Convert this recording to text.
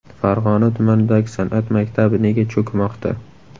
Farg‘ona tumanidagi san’at maktabi nega cho‘kmoqda?.